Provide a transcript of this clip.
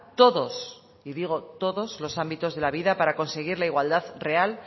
todos y digo todos los ámbitos de la vida para conseguir la igualdad real